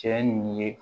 Cɛ in ye